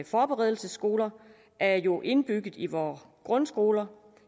forberedelsesskoler er jo indbygget i vore grundskoler